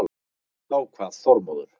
Þá kvað Þormóður